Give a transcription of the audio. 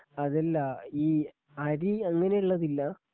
അതല്ല ഈ അരി അങ്ങനെയുള്ളതില്ലാ?